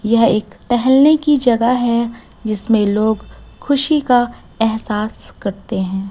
यह एक टेहलने की जगह है जिसमें लोग खुशी का एहसास करते है।